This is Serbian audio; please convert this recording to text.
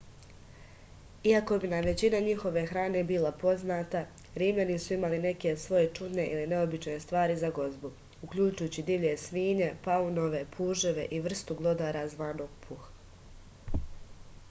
iako bi nam većina njihove hrane bila poznata rimljani su imali neke svoje čudne ili neobične stvari za gozbu uključujući divlje svinje paunove puževe i vrstu glodara zvanog puh